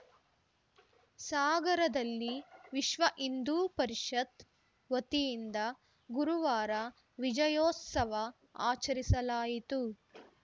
ಸಾಗರದಲ್ಲಿ ವಿಶ್ವಹಿಂದೂ ಪರಿಷತ್‌ ವತಿಯಿಂದ ಗುರುವಾರ ವಿಜಯೋತ್ಸವ ಆಚರಿಸಲಾಯಿತು